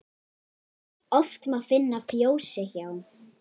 Oft má finna fjósi hjá.